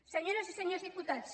senyores i senyors diputats